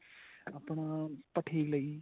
ਆਪਣਾ ਭੱਠੀ ਲਈ